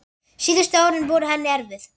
Síðustu árin voru henni erfið.